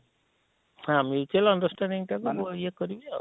ହଁ mutual understanding ଟାକୁ ଇଏ କରିବେ ଆଉ,